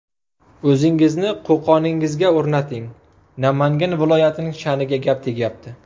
O‘zingizni Qo‘qoningizga o‘rnating, Namangan viloyatining sha’niga gap tegyapti.